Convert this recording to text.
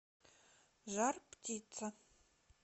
жар птица